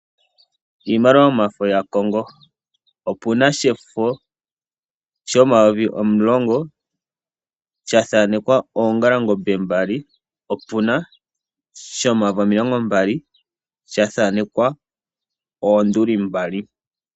Iimaliwa yomafo yaCongo. Opu na shefo shomayovi omulongo na osha thaanekwa oongalangombe mbali. Opu na woo shomayovi omilongo mbali shono sha thaanekwa oonduli mbali.